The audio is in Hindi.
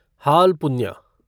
हाल पुन्ह्या